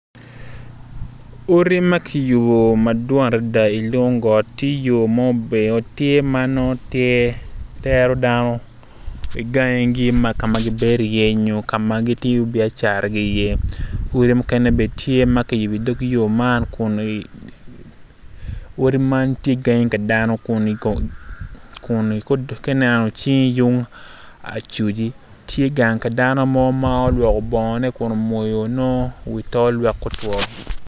Odi ma kiyubo madwong adada i lung got tye yo ma nongo obeyo nongo tye tero dano i gangi gi ka ma nongo gibedo iye nyo ka ma nongo gitiyo iye biacara odi mukene bnen tye ma kiyubo i dog yo man.